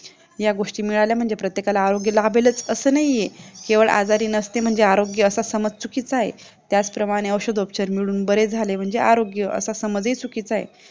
या गोष्टी मिळाल्या म्हणजे सर्वांनाच आरोग्य लाभेल लाभेलच असं नाहीये केवळ आजारी नसते म्हणजे आरोग्य असं समज चुकीचा आहे त्याचप्रमाणे औषध उपचार मिळून बरे झाले म्हणजे आरोग्य असा समजही चुकीचा आहे